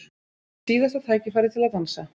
Síðasta tækifærið til að dansa